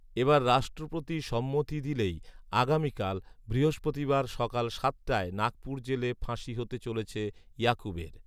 এবার রাষ্ট্রপতি সম্মতি দিলেই আগামিকাল, বৃহস্পতিবার সকাল সাতটায় নাগপুর জেলে ফাঁসি হতে চলেছে ইয়াকুবের